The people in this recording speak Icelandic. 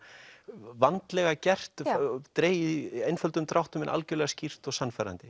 vandlega gert dregið í einföldum dráttum en algjörlega skýrt og sannfærandi